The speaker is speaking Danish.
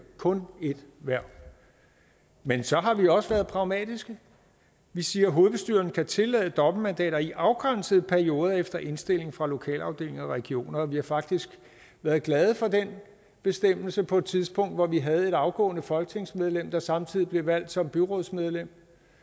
kun ét hverv men så har vi også været pragmatiske vi siger at hovedbestyrelsen kan tillade dobbeltmandater i afgrænsede perioder efter indstilling fra lokalafdelinger og regioner vi har faktisk været glade for den bestemmelse på et tidspunkt hvor vi havde et afgående folketingsmedlem der samtidig blev valgt som byrådsmedlem